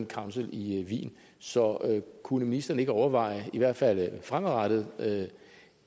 council i wien så kunne ministeren ikke overveje i hvert fald fremadrettet